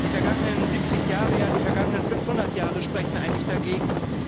Die vergangenen 70 Jahre, ja die vergangenen 500 Jahre sprechen eigentlich dagegen.